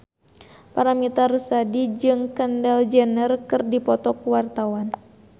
Paramitha Rusady jeung Kendall Jenner keur dipoto ku wartawan